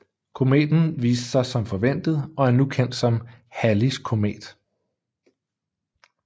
Kometen viste sig som forventet og er nu kendt som Halleys Komet